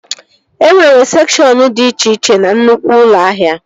E nwere sekshọn dị iche iche na nnukwu ụlọ ahịa